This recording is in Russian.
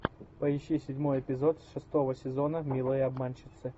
поищи седьмой эпизод шестого сезона милые обманщицы